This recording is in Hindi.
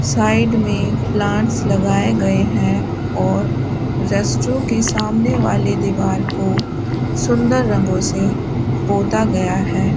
साइड में प्लांट्स लगाए गए हैं और रेस्ट्रो के सामने वाले दीवार को सुंदर रंगों से पोता गया है।